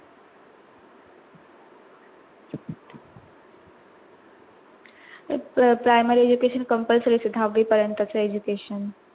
तेच ते primary education compulsory असत दहाव्वी परेंत चे education